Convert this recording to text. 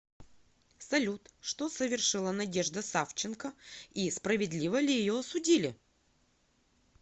салют что совершила надежда савченко и справедливо ли ее осудили